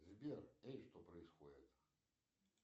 сбер эй что происходит